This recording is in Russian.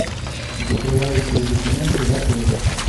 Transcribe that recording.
закрывающие документы в отеле